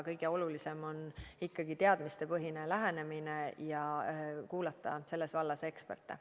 Kõige olulisem on ikkagi teadmistepõhine lähenemine ja kuulata selles vallas eksperte.